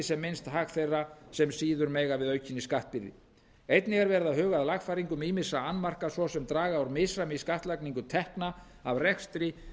sem minnst hag þeirra sem síður mega við aukinni skattbyrði einnig er verið að huga að lagfæringum ýmissa annmarka svo sem að draga úr misræmi í skattlagningu tekna af rekstri